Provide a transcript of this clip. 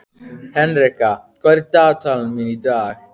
Henrika, hvað er í dagatalinu mínu í dag?